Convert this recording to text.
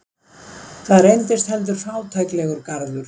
Það reynist heldur fátæklegur garður.